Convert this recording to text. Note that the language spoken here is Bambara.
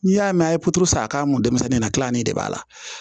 N'i y'a mɛn a ye porosa k'a kun denmisɛnnin na kilanni de b'a la